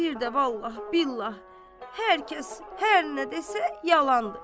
Bir də vallah, billah, hər kəs, hər nə desə yalandır.